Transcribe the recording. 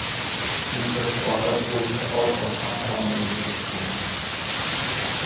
Shunchaki odat bo‘yicha oz-ozdan qonunni buzishgan.